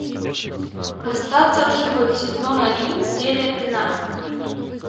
остаться в живых сезон один серия пятнадцать